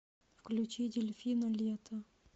включи дельфина лето